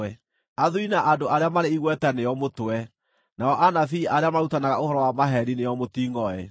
Athuuri na andũ arĩa marĩ igweta nĩo mũtwe, nao anabii arĩa marutanaga ũhoro wa maheeni nĩo mũtingʼoe.